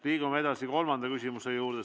Liigume edasi kolmanda küsimuse juurde.